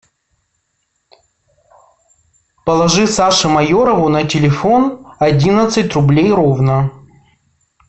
положи саше майорову на телефон одиннадцать рублей ровно